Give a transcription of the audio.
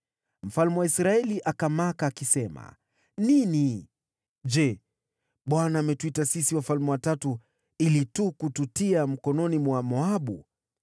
Mfalme wa Israeli akamaka, “Nini! Je, Bwana ametuita sisi wafalme watatu ili tu kututia mikononi mwa Moabu?”